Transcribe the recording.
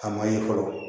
A ma ye fɔlɔ